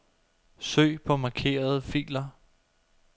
Søg på markerede filer.